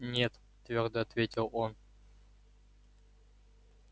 нет твёрдо ответил он